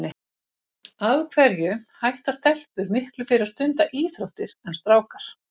Af hverju hætta stelpur miklu fyrr að stunda íþróttir en strákar?